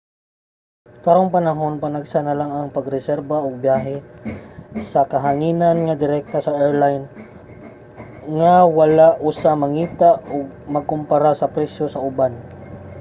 karong panahon panagsa na lang ang pag-reserba og biyahe sa kahanginan nga direkta sa airline nga wala usa mangita ug magkumpara sa presyo sa uban